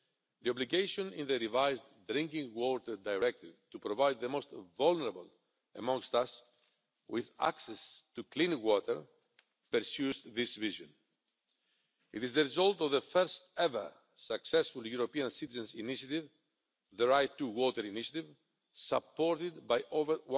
The obligation in the revised Drinking Water Directive to provide the most vulnerable amongst us with access to clean water pursues this vision. It is the result of the first ever successful European citizens' initiative the right to water initiative supported by over